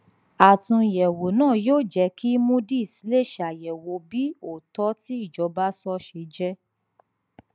àtúnyẹwò náà yóò jẹ kí moodys lè ṣàyẹwò bí òótọ tí ìjọba sọ ṣe jẹ